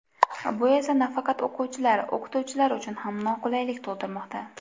Bu esa nafaqat o‘quvchilar, o‘qituvchilar uchun ham noqulaylik tug‘dirmoqda.